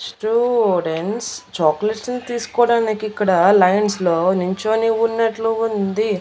Students chocolates ని తీసుకోవడానికి ఇక్కడ లైన్స్ లో నించోని ఉన్నట్లు ఉంది.